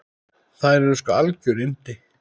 Þær eru sko algjör yndi.